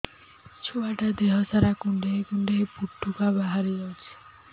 ଛୁଆ ଟା ଦେହ ସାରା କୁଣ୍ଡାଇ କୁଣ୍ଡାଇ ପୁଟୁକା ବାହାରି ଯାଉଛି